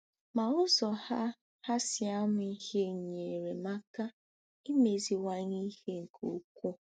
Ma ụzọ ha ha si amụ ihe nyeere m aka imeziwanye ihe nke ukwuu.